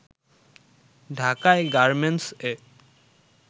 ঢাকায় গার্মেন্টস-এ